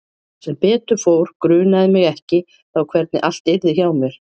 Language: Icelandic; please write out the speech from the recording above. Sem betur fór grunaði mig ekki þá hvernig allt yrði hjá mér.